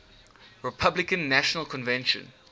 republican national convention